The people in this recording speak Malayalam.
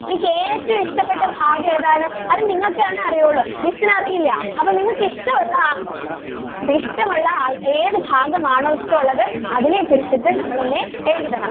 നിങ്ങക്ക് ഏറ്റവും ഇഷ്ടപെട്ട ഭാഗം ഏതാണ് അത് നിങ്ങൾക്ക് ആണ് അറിയോളളൂ miss ന് അറിയില്ല അപ്പൊ നിങ്ങൾക്ക് ഇഷ്ടം ഉള്ള ഇഷ്ടം ഉള്ള ഏതു ഭാഗം ആണോ ഇഷ്ടം ഉള്ളത് അതിനെ കുറിച്ചിട്ട് നമ്മൾ എഴുതണം.